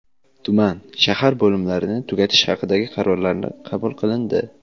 tuman (shahar) bo‘limlarini tugatish haqidagi qarorlari qabul qilindi.